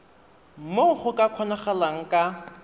moo go ka kgonagalang ka